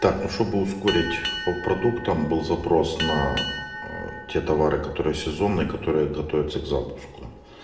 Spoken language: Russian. чтобы ускорить по продуктам был запрос на те товары которые сезонные которая готовится к запуску